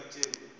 skhosana